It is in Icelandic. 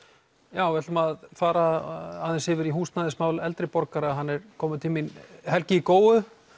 já við ætlum að fara aðeins yfir í húsnæðismál eldri borgara hann er kominn til mín Helgi í Góu